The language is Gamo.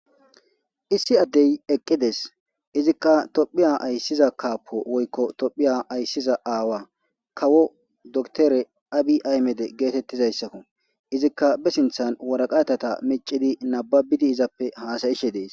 Issi addey eqqides izikka tophiya ayssiza kaapo woykko tophiya ayssiza aawa kawo doktore abi aymede geetettizayssakko izikka be sinthan waraqatata micidi nababidi izappe haasayishe dees.